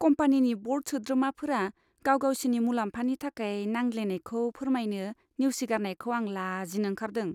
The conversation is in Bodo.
कम्पानिनि बर्ड सोद्रोमाफोरा गाव गावसिनि मुलाम्फानि थाखाय नांज्लायलायनायखौ फोरमायनो नेवसिगारनायखौ आं लाजिनो ओंखारदों।